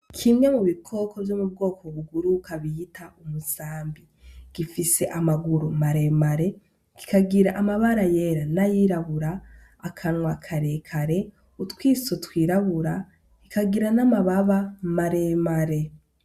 Kimwe mu bikoko vyo mu bwoko buguru kabiyita umusambi gifise amaguru maremare kikagira amabara yera n'ayirabura akanwa karekare utwiso twirabura ikagira n'amababa maremare.